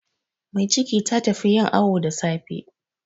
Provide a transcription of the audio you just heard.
Mai ciki ta tafi yin awu da safe.